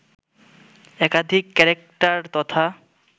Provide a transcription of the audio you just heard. একাধিক ক্যারেক্টার তথা